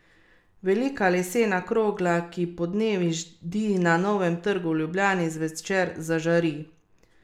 Eden izmed aktivnih asistenčnih sistemov je tudi asistenca, ki voznika opozori, da bo na primer pri parkiranju s kolesom zadel robnik.